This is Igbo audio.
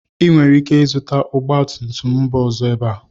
Ị nwere ike ịzụta ọgba tum tum mba ọzọ ebe a